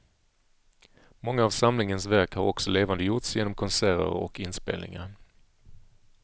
Många av samlingens verk har också levandegjorts genom konserter och inspelningar.